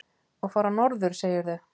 Og fara norður, segirðu?